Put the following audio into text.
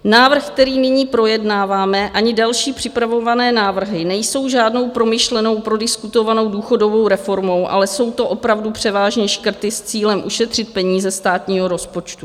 Návrh, který nyní projednáváme, ani další připravované návrhy nejsou žádnou promyšlenou, prodiskutovanou důchodovou reformou, ale jsou to opravdu převážně škrty s cílem ušetřit peníze státního rozpočtu.